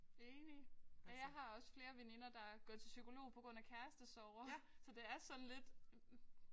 Enig. Og jeg har også flere veninder der er gået til psykolog på grund af kærestesorger så det er sådan lidt